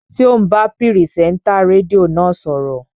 Ṣé ò ń bá pìrìsẹ́ńtà rédíò náà sọ̀rọ̀?